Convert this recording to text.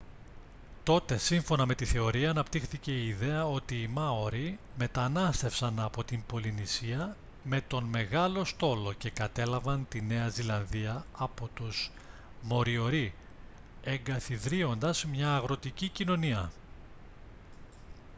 τότε σύμφωνα με τη θεωρία αναπτύχθηκε η ιδέα ότι οι μάορι μετανάστευσαν από την πολυνησία με τον «μεγάλο στόλο» και κατέλαβαν τη νέα ζηλανδία από τους μοριορί εγκαθιδρύοντας μια αγροτική κοινωνία